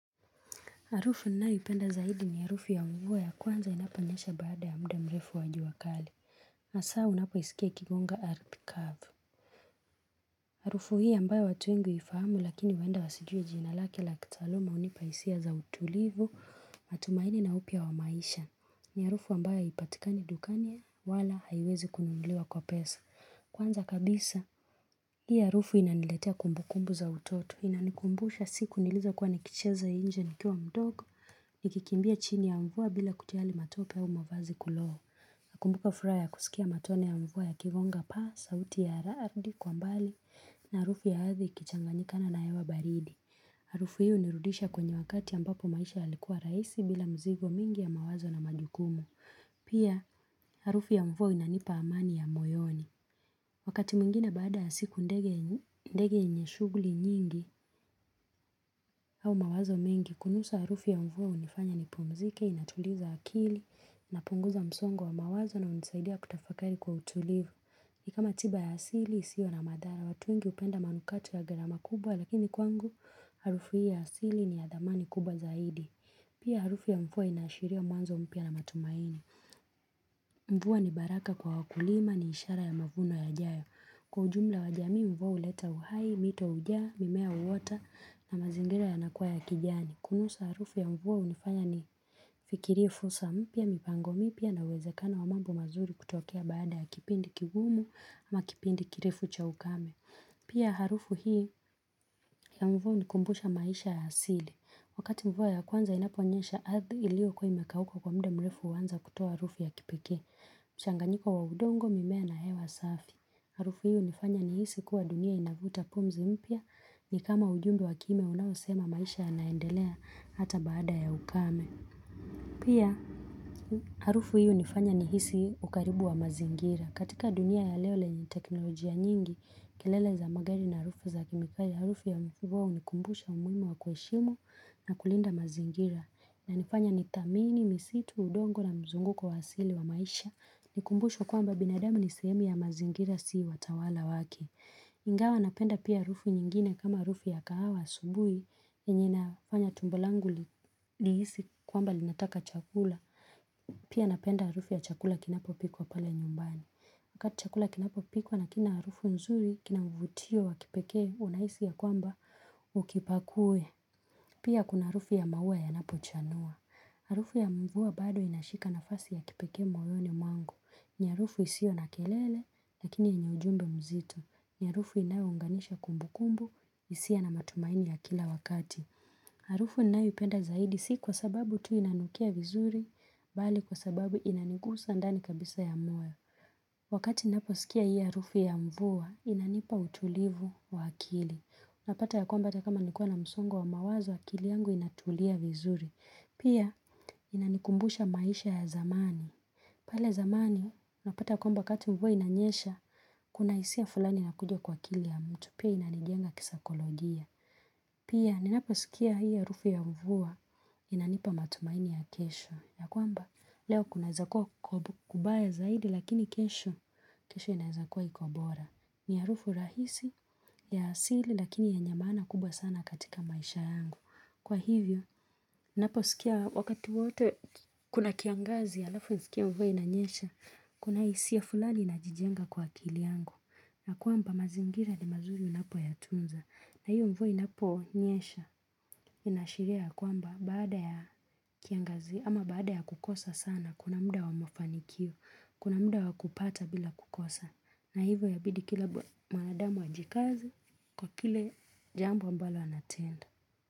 Harufu ninayoipenda zaidi ni harufu ya mvua ya kwanza inaponyesha baada ya muda mrefu wa jua kali. Hasa unapoisikia ikigonga ardhi kavu. Harufu hii ambayo watu wengi huifahamu lakini huenda wasijue jina lake la kitaaluma hunipa hisia za utulivu, matumaini na upya wa maisha. Ni harufu ambayo haipatikani dukani wala haiwezi kununuliwa kwa pesa. Kwanza kabisa hii harufu inaniletea kumbukumbu za utoto inanikumbusha siku nilizokuwa nikicheza nje nikiwa mdogo, nikikimbia chini ya mvua bila kujali matope au mavazi kulowa. Nakumbuka furaha ya kusikia matone ya mvua yakigonga pa, sauti ya radi kwa mbali na harufu ya ardhi ikichanganyikana na hewa baridi. Harufu hii inarudisha kwenye wakati ambapo maisha yalikuwa rahisi bila mzigo mingi ya mawazo na majukumu. Pia harufu ya mvua inanipa amani ya moyoni. Wakati mwingine baada ya siku ndege yenye shughuli nyingi au mawazo mingi, kunusa harufu ya mvua hunifanya nipumzike, inatuliza akili, inapunguza msongo wa mawazo na hunisaidia kutafakari kwa utulivu. Ni kama tiba ya asili, isio na madhara watu wengi hupenda manukato ya gharama kubwa, lakini kwangu, harufu ya asili ni ya dhamani kubwa zaidi. Pia harufu ya mvua ina ashiria mwanzo mpya na matumaini. Mvua ni baraka kwa wakulima ni ishara ya mavuno yajayo. Kwa ujumla wajamii mvua huleta uhai, mito ujaa, mimea huota na mazingira yanakuwa ya kijani. Kunusa harufu ya mvua hunifanya nifikirie fursa mpya mipango mpya na uwezekano wa mambo mazuri kutokea baada ya kipindi kigumu ama kipindi kirefu cha ukame. Pia harufu hii ya mvua hunikumbusha maisha ya asili. Wakati mvua ya kwanza inaponyesha ardhi iliokuwa imekauka kwa muda mrefu huanza kutoa harufu ya kipekee. Mchanganyiko wa udongo mimea na hewa safi. Harufu hiyo inafanya nihisi kuwa dunia inavuta pumzi mpya ni kama ujumbe wa kina unaosema maisha yanaendelea hata baada ya ukame. Pia harufu hiyo inafanya nihisi ukaribu wa mazingira. Katika dunia ya leo lenye teknolojia nyingi, kelele za magari na harufu za kemikali, harufu ya mvua hunikumbusha umuhimu wa kuheshimu na kulinda mazingira. Inanifanya ni thamini, misitu, udongo na mzunguko wa asili wa maisha ni kumbusho kwamba binadamu ni sehemu ya mazingira si watawala wake ingawa napenda pia harufu nyingine kama harufu ya kahawa asubuhi yenye inafanya tumbo langu lihisi kwamba linataka chakula pia napenda harufu ya chakula kinapopikwa pale nyumbani wakati chakula kinapopikwa na kina harufu nzuri kina mvutio wa kipekee unahisi ya kwamba ukipakue Pia kuna harufu ya maua yanapochanua. Harufu ya mvua bado inashika nafasi ya kipekee moyoni mwangu. Ni harufu isiyo na kelele, lakini ina ujumbe mzito. Ni harufu inayounganisha kumbukumbu, hisia na matumaini ya kila wakati. Harufu ninayoipenda zaidi si kwa sababu tu inanukia vizuri, bali kwa sababu inanigusa ndani kabisa ya moyo. Wakati naposikia hii harufu ya mvua, inanipa utulivu wa akili. Napata ya kwamba hata kama nilikuwa na msongo wa mawazo, akili yangu inatulia vizuri. Pia, inanikumbusha maisha ya zamani. Pale zamani, napata kwamba wakati mvua inanyesha, kuna hisia fulani inakuja kwa akili ya mtu. Pia inanijenga kisaikolojia. Pia, ninaposikia hii harufu ya mvua, inanipa matumaini ya kesho. Ya kwamba leo kunaeza kuwa kubaya zaidi lakini kesho inaeza kuwa iko bora. Ni harufu rahisi ya asili lakini yenye maana kubwa sana katika maisha yangu. Kwa hivyo naposikia wakati wote kuna kiangazi alafu nisikie mvua inanyesha. Kuna hisia fulani inajijenga kwa akili yangu. Na kwamba mazingira ni mazuri unapoyatunza. Na hio mvua inaponyesha, inaashiria ya kwamba baada ya kiangazi, ama baada ya kukosa sana, kuna muda wa mafanikio, kuna muda wa kupata bila kukosa. Na hivyo inabidi kila mwanadamu ajikaze kwa kile jambo ambalo anatenda.